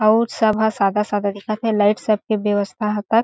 अऊ सब ह सादा-सादा दिखा थे लाइट सबके ब्यवस्था ह तक।